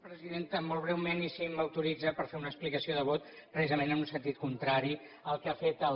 presidenta molt breument i si m’autoritza per fer una explicació de vot precisament en un sentit contrari al que ha fet el